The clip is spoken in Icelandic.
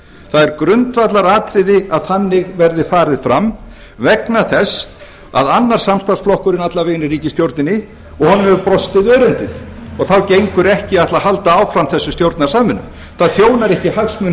er grundvallaratriði að þannig verði farið fram vegna þess að annar samstarfsflokkurinn alla vegana í ríkisstjórninni hefur brostið örendið þá gengur ekki að ætla að halda áfram þessari stjórnarsamvinnu það þjónar ekki hagsmunum